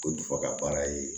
Ko dusuka baara ye